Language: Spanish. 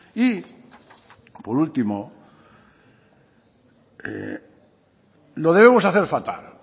y por último lo debemos hacer fatal